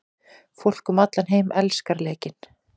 Fólk um allan heim elskar leikinn.